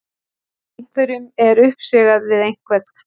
Einhverjum er uppsigað við einhvern